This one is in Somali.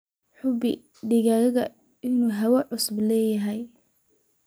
Hubi in digaaggu uu hawo cusub leeyahay.